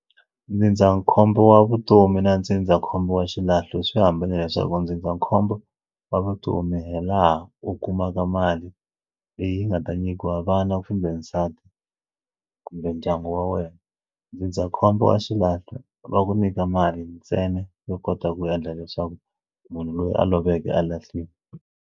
Ndzindzakhombo wa vutomi na ndzindzakhombo wa xilahlo swi hambane leswaku ndzindzakhombo wa vutomi hi laha u kumaka mali leyi nga ta nyikiwa vana ku kumbe nsati kumbe ndyangu wa wena ndzindzakhombo wa xilahlo va ku nyika mali ntsena yo kota ku endla leswaku munhu loyi a loveke a lahliwa.